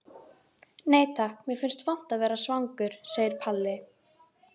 Nei takk, mér finnst vont að vera svangur, segir Palli.